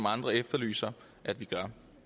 andre efterlyser at vi gør